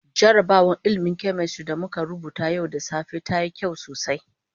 Jarrabawar ilmin "chemistry" da muka rubuta yau da safe ta yi sauki sosai.